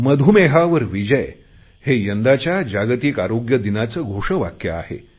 मधुमेहावर विजय हे यंदाच्या जागतिक आरोग्य दिनाचे घोषवाक्य आहे